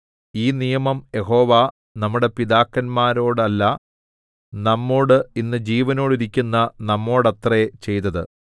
ഈ നിയമം യഹോവ നമ്മുടെ പിതാക്കന്മാരോടല്ല നമ്മോട് ഇന്ന് ജീവനോടിരിക്കുന്ന നമ്മോടത്രേ ചെയ്തത്